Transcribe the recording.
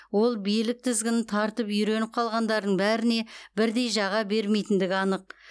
ол билік тізгінін тартып үйреніп қалғандардың бәріне бірдей жаға бермейтіндігі анық